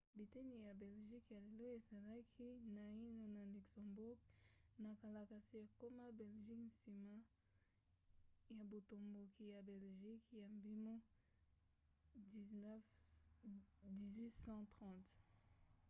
biteni ya belgique ya lelo ezalaki naino na luxembourg na kala kasi ekoma ya belgique nsima ya botomboki ya belgique ya mibu 1830